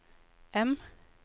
M